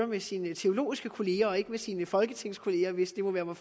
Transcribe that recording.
med sine teologiske kolleger og ikke med sine folketingskolleger hvis det må være mig